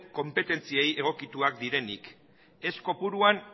konpetentziei egokituak direnik ez kopuruan